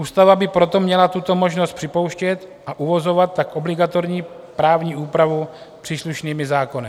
Ústava by proto měla tuto možnost připouštět a uvozovat tak obligatorní právní úpravu příslušnými zákony.